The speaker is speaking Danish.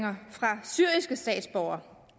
fra syriske statsborgere